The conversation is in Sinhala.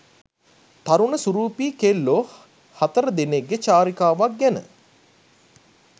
තරුණ සුරූපී කෙල්ලො හතර දෙනෙක්ගෙ චාරිකාවක් ගැන